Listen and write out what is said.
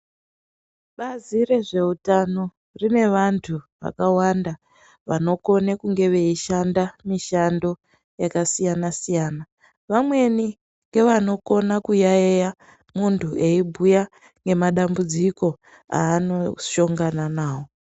Bazi rezveutano rine vantu vakawanda vanokone kunge veishanda mishando yakasiyana siyana, vamweni ngevanokona kuyayiya muntu eibhuya nemadambudziko anoshongona nawo.